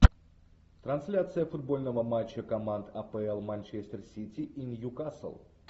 трансляция футбольного матча команд апл манчестер сити и ньюкасл